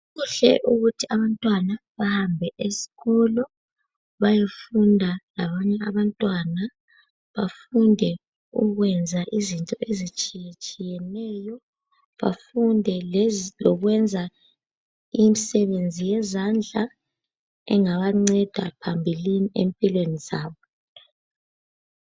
Kuhle ukuthi abantwana bahambe esikolo bayefunda labanye abantwana. Bafunde ukwenza izinto ezitshiyetshiyeneyo, bafunde lokwenza imisebenzi yezandla engabanceda phambilini empilweni zabo.